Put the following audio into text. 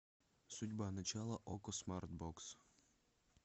судьба начало окко смарт бокс